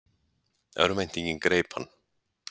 Örvæntingin greip hann.